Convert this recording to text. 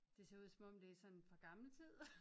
Det ser ud som om det er sådan fra gammel tid